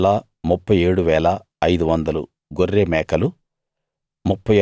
3 37 500 గొర్రె మేకలు